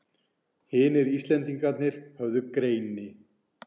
Hinir Íslendingarnir höfðu greini